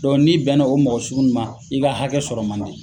n'i bɛn na o mɔgɔ sugu ma, i ka hakɛ sɔrɔ ma di.